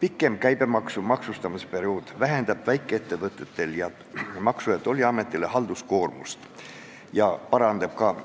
Pikem käibemaksu maksustamisperiood vähendab Maksu- ja Tollimeti ning väikeettevõtjate halduskoormust,